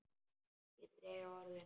Ég dreg orðin.